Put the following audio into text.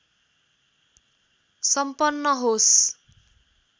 सम्पन्न होस्